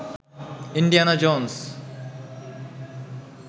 Indiana Jones